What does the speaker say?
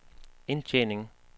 indtjening